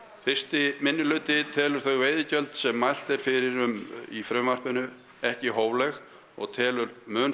fyrsti minnihluti telur þau veiðigjöld sem mælt er fyrir um í frumvarpinu ekki hófleg og telur mun